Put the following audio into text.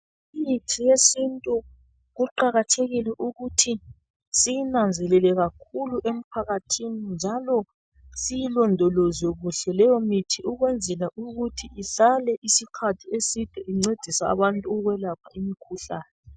Imithi yesintu kuqakathekile ukuthi siyinanzelele kakhulu emphakathini njalo siyilondoloze kuhle leyimithi ukwenzela ukuthi ihlale isikhathi eside incedisa abantu ukwelapha imikhuhlane.